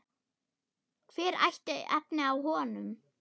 Hver ætti efni á honum?